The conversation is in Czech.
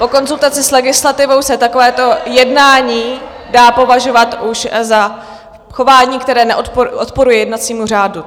Po konzultaci s legislativou se takovéto jednání dá považovat už za chování, které odporuje jednacímu řádu.